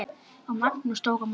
Og Magnús tók á móti?